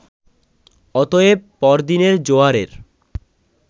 অতএব পর দিনের জোয়ারের